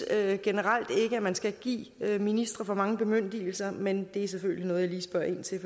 at jeg generelt ikke synes at man skal give ministre for mange bemyndigelser men det er selvfølgelig noget jeg lige spørger ind til